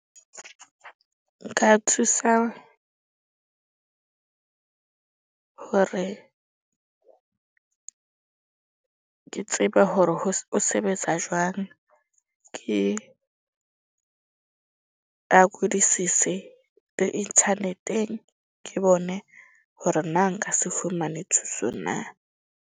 Nka thusa hore ke tseba hore o sebetsa jwang. Ke le internet-eng. Ke bone hore na nka se fumane thuso na.